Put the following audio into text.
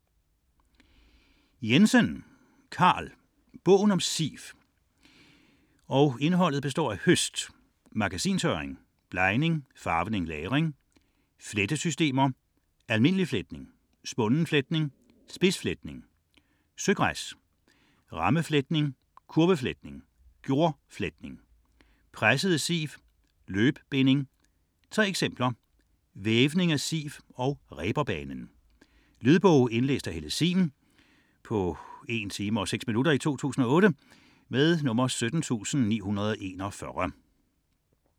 68.9 Jensen, Carl: Bogen om siv Indhold: Høst; Magasintørring; Blegning, farvning, lagring; Flettesystemer; Almindelig fletning; Spunden fletning; Spidsfletning; Søgræs; Rammefletning; Kurvefletning; Gjordfletning; Pressede siv; Løbbinding; Tre eksempler; Vævning af siv; Reberbanen. Lydbog 17941 Indlæst af Helle Sihm, 2008. Spilletid: 1 time, 6 minutter.